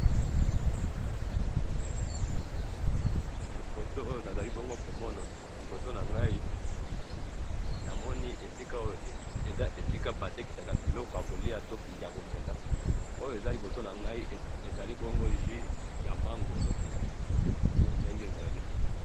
e photo oyo nazalibongo komona liboso nangayi namoni esikaoyo eza esika batekisaka biloko yakolia to yakomela oyo eza libosonangayi ezalibongo ju ya mangolo ndenge ezali